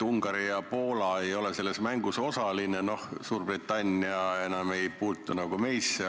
Ungari ja Poola ei ole selles mängus osalised, Suurbritannia ei puutu enam meisse.